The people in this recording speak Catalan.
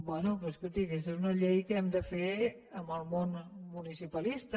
bé però escolti aquesta és una llei que hem de fer amb el món municipalista